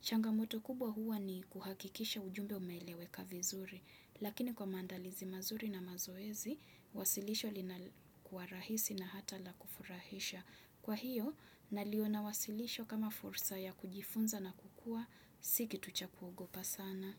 Changamoto kubwa huwa ni kuhakikisha ujumbe umeeleweka vizuri, lakini kwa mandalizi mazuri na mazoezi, wasilisho lina kuwa rahisi na hata la kufurahisha. Kwa hiyo, naliona wasilisho kama fursa ya kujifunza na kukua, sikitu cha kuogopa sana.